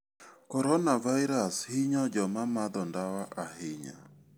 Coronavirus hinyo joma madho ndawa ahinya.